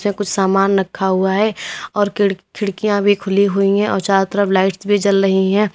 इसमें कुछ सामान रखा हुआ है और खिड़ खिड़कियां भी खुली हुई हैं और चारों तरफ लाइट्स भी जल रही हैं।